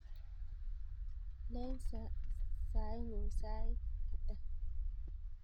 Len saing'ung' sait ata?